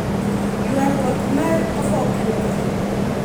Ywaruok mar obokeno odhi nade?